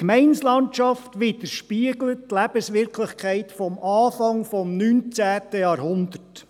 Die Gemeindelandschaft widerspiegelt die Lebenswirklichkeit vom Anfang des 19. Jahrhunderts.